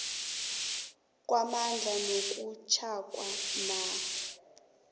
kwamandla nakusetjhwako nanyana